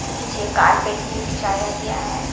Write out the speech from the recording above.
नीचे कारपेट भी बिछाया गया है।